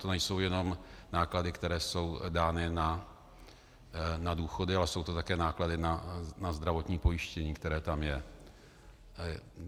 To nejsou jenom náklady, které jsou dány na důchody, ale jsou to také náklady na zdravotní pojištění, které tam je.